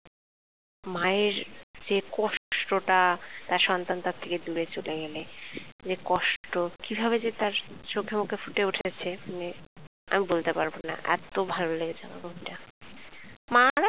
মায়ের যে কষ্ট টা তার সন্তান তার থেকে দূরে চলে গেলে যে কষ্ট কিভাবে যে তার চোখে মুখে ফুটে উঠেছে মানে আমি বলতে পারবোনা এতো ভালো লেগেছে আমার movie টা মায়েরা